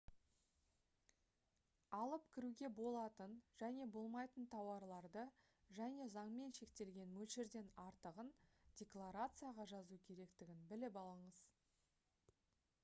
алып кіруге болатын және болмайтын тауарларды және заңмен шектелген мөлшерден артығын декларацияға жазу керектігін біліп алыңыз